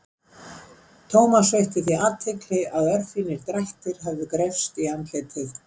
Thomas veitti því athygli að örfínir drættir höfðu greypst í andlitið.